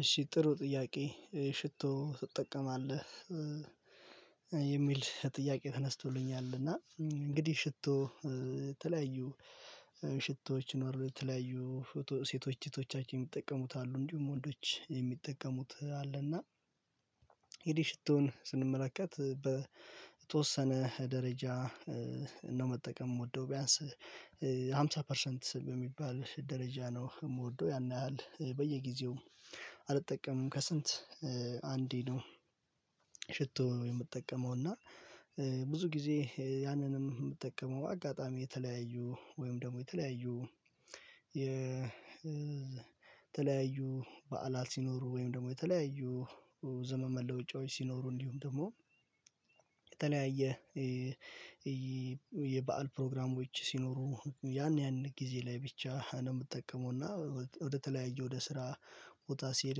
እሺ ጥሩ ጥያቄ ሽቶ ትጠቀማለህ የሚል ጥያቄ? ተነስቶልኛል እና እንግዲህ ሽቶ የተለያዩ ሽቶዎች ይኖራል የተለያዩ ሴቶች እህቶቻችን የሚጠቀሙት አሉ እንዲሁም ወንዶች የሚጠቀሙት አለና። ስንመለከት በተወሰነ ደረጃ ነው መጠቀም የምወደው ቢያንስ አምሳ ፐርሰንት ስ የሚባል ደረጃ ነው የምወደው ያን ያህል በየጊዜው አልጠቀምም ከስንት አንዴ ነው። ሽቶ የምጠቀመው እና ብዙ ጊዜ ያንንም የምትጠቀመው አጋጣሚ የተለያዩ ወይም ደግሞ የተለያዩ የ ተለያዩ በዓላት ሲኖሩ ወይም ደግሞ የተለያዩ ዘመን መለወጫዎች ሲኖሩ እንዲሁም ደግሞ የተለያየ የበአል ፕሮግራሞች ሲኖሩ ያን ያን ጊዜ ላይ ብቻ ነው የምጠቀመው እና ወደተለያየ ወደ ስራ ቦታ ሲሄድ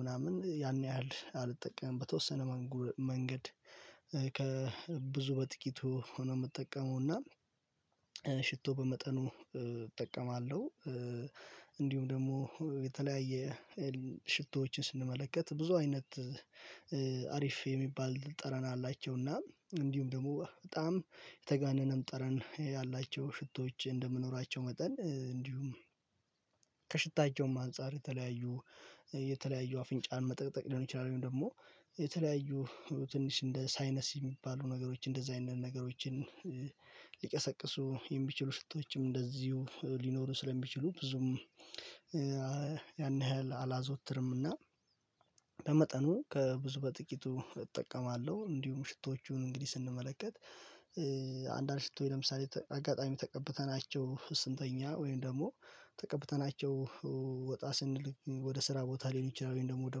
ምናምን ያን ያህል አልጠቀምም በተወሰነ መንጎ መንገድ ከብዙ በጥቂቱ ሆኖ የምጠቀመውና ሽቶ በመጠኑ እጠቀማለሁ። እንዲሁም ደግሞ የተለያየ ሽቶዎችን ስንመለከት ብዙ አይነት አሪፍ የሚባል ጠረን አላቸውና እንዲሁም ደግሞ በጣም የተጋነነም ጠረን ያላቸው ሽቶዎች እንደመኖራቸው መጠን እንዲሁም ከሽታቸውም አንፃር የተለያዩ የተለያዩ አፍንጫን መጠቅጠቅ ሊሆን ይችላል ወይም ደግሞ የተለያዩ ትንሽ እንደ ሳይነስ የሚባሉ ነገሮች እንደዚህ አይነት ነገሮችን ሊቀሰቅሱ የሚችሉ ሽቶዎችም እንደዚሁ ሊኖሩ ስለሚችሉ ብዙም ያን ያህል አላዘወትርምና በመጠኑ ከብዙ በጥቂቱ እጠቀማለሁ። እንዲሁም ሽቶዎቹን እንግዲህ ስንመለከት አንድ አንድ ሽቶዎች ለምሳሌ አጋጣሚ ተቀብተናቸው ስንተኛ ወይም ደግሞ ተቀብተናቸው ወጣ ስንል ወደ ስራ ቦታ ሊሆን ይችላል ወይም ደግሞ ወደ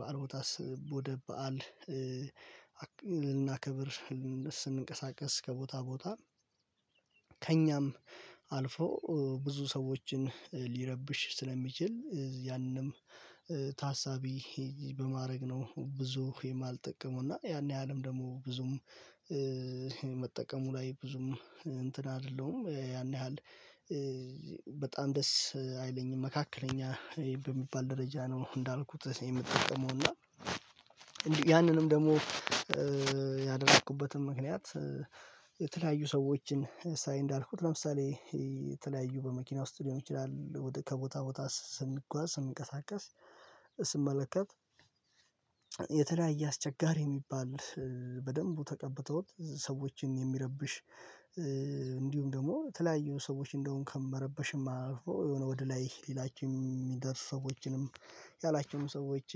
በዓል ቦታ ስ ወደ በዓል ልናከብር ስንቀሳቀስ ከቦታ ቦታ ከእኛም አልፎ ብዙ ሰዎችን ሊረብሽ ስለሚችል ያንም ታሳቢ በማድረግ ነው ብዙ የማልጠቀመው እና ያን ያህልም ደግሞ ብዙም መጠቀሙ ላይ ብዙም እንትን አይደለሁም። ያን ያህል በጣም ደስ አይለኝም መካከለኛ በሚባል ደረጃ ነው። እንዳልኩት እኔ የምጠቀመው እና ያንንም ደግሞ ያደረኩበትም ምክንያት የተለያዩ ሰዎችን ሳይ እንዳልኩት ለምሳሌ የተለያዩ በመኪና ውስጥ ሊሆን ይችላል ወደ ከቦታ ቦታ ስንጓዝ ስንቀሳቀስ ስንመለከት የተለያየ አስቸጋሪ የሚባል በደንቡ ተቀብተውት ሰዎችን የሚረብሽ እንዲሁም ደግሞ የተለያዩ ሰዎች እንደውም ከመረበሽም አልፎ የሆነ ወደ ላይ ሊላቸው የሚደርሱ ሰዎችንም ያላቸውምም ሰዎች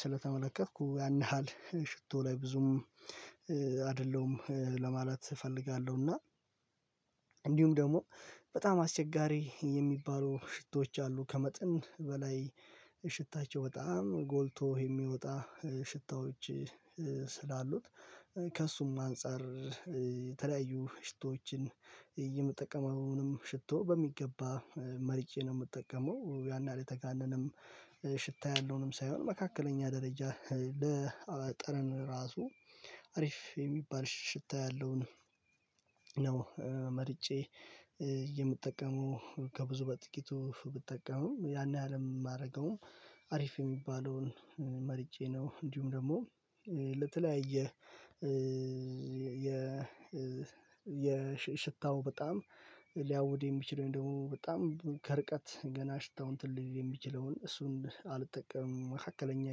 ስለተመለከትኩ ያን ያህል ሽቶ ላይ ብዙም አይደለሁም ለማለት እፈልጋለሁ። እና እንዲሁም ደግሞ በጣም አስቸጋሪ የሚባሉ ሽቶች አሉ። ከመጠን በላይ ሽታቸው በጣም ጎልቶ የሚወጣ ሽታዎች ስላሉት ከእርሱም አንፃር የተለያዩ ሽቶዎችን የምጠቀመውንም ሽቶ በሚገባ መርጬ ነው የምጠቀመው ያን ያህል የተጋነንም ሽታ ያለውንም ሳይሆን መካከለኛ ደረጃ ለጠረን ራሱ አሪፍ የሚባል ሽታ ያለውን መርጬ የምጠቀመው ከብዙ በጥቂቱ ብጠቀምም ያን ያህል የማደርገውም አሪፍ የሚባለውን መርጬ ነው። እንዲሁም ደግሞ ለተለያየ የሽታው በጣም ሊያውድ የሚችል ወይም ደግሞ በጣም ከርቀት ገና ሽታው እንትን ሊል የሚችለውን እሱን አልጠቀምም መካከለኛ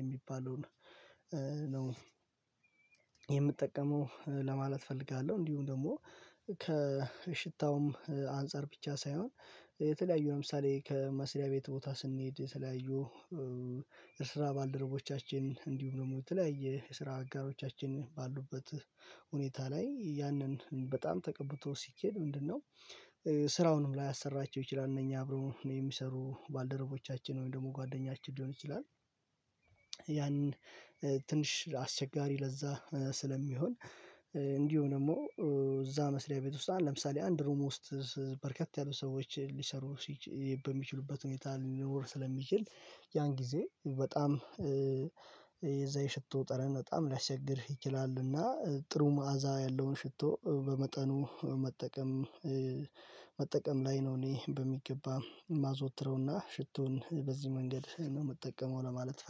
የሚባለውን ነው የምጠቀመው ለማለት እፈልጋለሁ። እንዲሁም ደግሞ ከሽታውም አንፃር ብቻ ሳይሆን የተለያዩ ለምሳሌ ከመስሪያ ቤት ቦታ ስንሄድ የተለያዩ የስራ ባልደረቦቻችን እንዲሁም ደግሞ በተለያዩ የስራ አጋሮቻችን ባሉበት ሁኔታ ላይ ያንን በጣም ተቀብቶ ሲኬድ ምንድነው? ስራውንም ላያሰራቸው ይችላል እነኚህ አብሮ የሚሰሩ ባልደረቦቻችን ወይም ደግሞ ጓደኛችን ሊሆን ይችላል። ያን ትንሽ አስቸጋሪ ለዛ ስለሚሆን እንዲሁም ደግሞ እዛ መስሪያ ቤት ውስጥ ለምሳሌ አንድ ሩም ውስጥ በርከት ያሉ ሰዎች ሊሰሩ ሲች በሚችሉበት ሁኔታ ሊኖር ስለሚችል ያን ጊዜ በጣም የዛ የሽቶ ጠረን በጣም ሊያስቸግር ይችላልና ጥሩ መዓዛ ያለውን ሽቶ በመጠኑ መጠቀም። መጠቀም ላይ ነው እኔ በሚገባ የማዘወትረውና ሽቶውን በዚህ መንገድ ነው የምጠቀመው ለማለት ፈልጋ